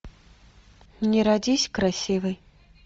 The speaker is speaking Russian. не родись красивой